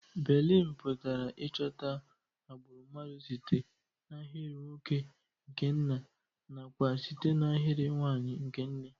Baịlịna pụtara Ịchọta agbụrụ mmadụ site n'ahịrị nwoke nke nna na kwa site na ahịrị nwanyị nke nne.